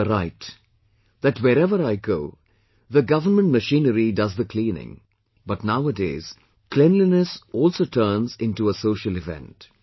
You are right, that wherever I go, the government machinery does the cleaning but nowadays cleanliness also turns into a social event